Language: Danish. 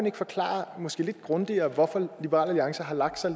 ikke forklare måske lidt grundigere hvorfor liberal alliance har lagt sig